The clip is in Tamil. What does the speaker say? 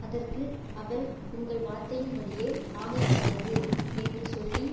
அதற்கு அவள் உங்கள் வார்த்தையின்படியே ஆகக்கடவது என்று சொல்லி